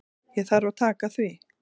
Ég þarf að taka því.